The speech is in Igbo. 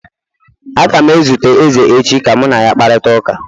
Aga m ezute eze echi ka mụ na ya kparịta ụka